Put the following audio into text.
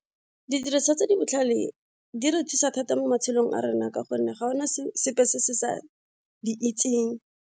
Didiriswa tse di botlhale di re thusa thata mo matshelong a rona ka gonne ga gona sepe se se sa di itseng.